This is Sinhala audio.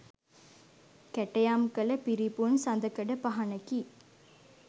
කැටයම් කළ පිරිපුන් සඳකඩපහණකි.